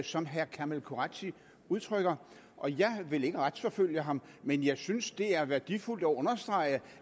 som herre kamal qureshi udtrykker og jeg vil ikke retsforfølge ham men jeg synes det er værdifuldt at understrege